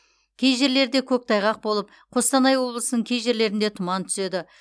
кей жерлерде көктайғақ болып қостанай облысының кей жерлерінде тұман түседі